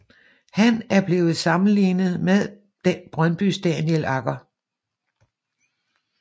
Han er blevet sammenlignet med Brøndbys Daniel Agger